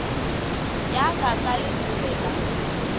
ya ka ka letobe la